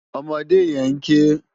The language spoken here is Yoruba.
Òmòdé yèn n ké